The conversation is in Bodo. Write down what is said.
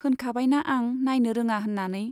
होनखाबायना आं नाइनो रोङा होन्नानै।